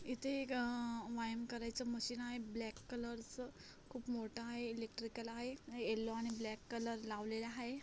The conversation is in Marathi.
इथे एक अ व्यायाम करायचं मशीन आहे ब्लॅक कलरच खूप मोठा आहे इलेक्ट्रिकल आहे. येल्लो आणि ब्लॅक कलर लावलेल आहे.